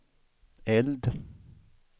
eld